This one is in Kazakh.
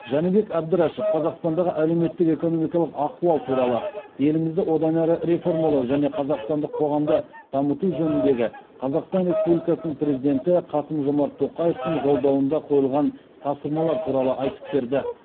жәнібек әбдрашов қазақстандағы әлеуметтік экономикалық ахуал туралы елімізді одан әрі реформалау және қазақстандық қоғамды дамыту жөніндегі қазақстан республикасының президенті қасым жомарт тоқаевтың жолдауында қойылған тапсырмалар туралы айтып берді